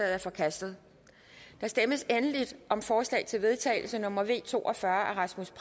er forkastet der stemmes endelig om forslag til vedtagelse nummer v to og fyrre af rasmus